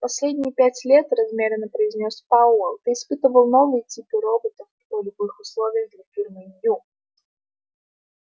последние пять лет размеренно произнёс пауэлл ты испытывал новые типы роботов в полевых условиях для фирмы ю